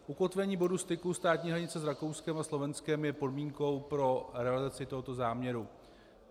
Ukotvení bodu styku státní hranice s Rakouskem a Slovenskem je podmínkou pro realizaci tohoto záměru.